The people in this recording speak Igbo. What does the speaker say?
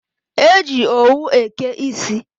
E ji owu eke isi.